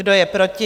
Kdo je proti?